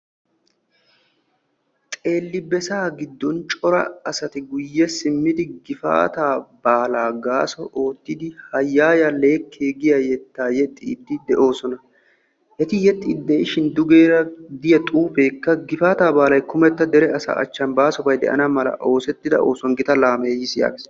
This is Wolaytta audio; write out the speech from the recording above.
Xeelli bessa giddon cora asati guye simmiddi gifaata baala gaaso oottiddi leekiya yexxosonna. Etta matan de'iya xuufe gifata baalabba yootees.